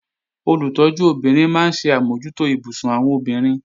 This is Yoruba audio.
Olùtọ́jú obìnrin máa ń ṣe àmójútó ibùsùn àwọn obìnrin